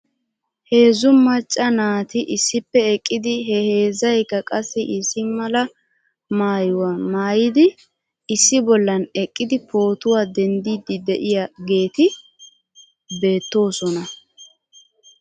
Heezzu macca naati issippe eqqidi he heezzaykka qassi issi mala maayuwaa maayidi issi bollan eqqidi pootuwaa dendiiddi de'iyaageeti beettoosona .